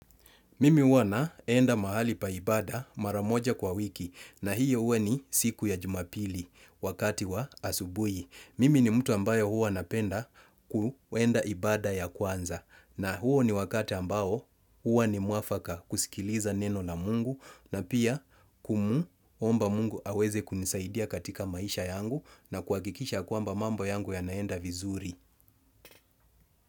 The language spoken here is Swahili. Mimi huwa naenda mahali pa ibada mara moja kwa wiki na hiyo huwa ni siku ya jumapili wakati wa asubuhi. Mimi ni mtu ambaye huwa napenda kuenda ibada ya kwanza na huo ni wakati ambao huwa ni mwafaka kusikiliza neno na mungu na pia kumuomba mungu aweze kunisaidia katika maisha yangu na kuhakikisha kwamba mambo yangu yanaenda vizuri.